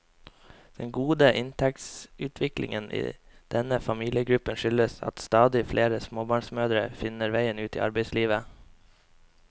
Den gode inntektsutviklingen i denne familiegruppen skyldes at stadig flere småbarnsmødre finner veien ut i arbeidslivet.